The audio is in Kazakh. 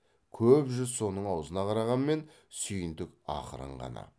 көп жүз соның аузына қарағанмен сүйіндік ақырын ғана